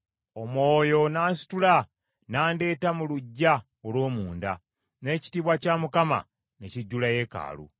Omwoyo n’ansitula, n’andeeta mu luggya olw’omunda, n’ekitiibwa kya Mukama ne kijjula yeekaalu.